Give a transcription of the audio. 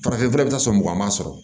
Farafinfura bɛ taa sɔn mugan mugan sɔrɔ